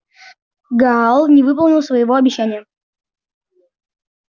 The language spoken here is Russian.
гаал не выполнил своего обещания